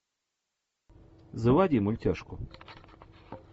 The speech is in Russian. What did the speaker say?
заводи мультяшку